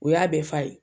O y'a bɛɛ fa ye